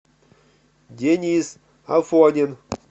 денис афонин